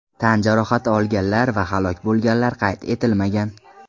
Tan jarohati olganlar va halok bo‘lganlar qayd etilmagan.